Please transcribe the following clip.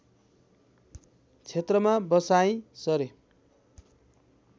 क्षेत्रमा बसाइँ सरे